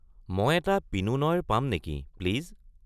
মই এটা পিনো নইৰ পাম নেকি, প্লিজ।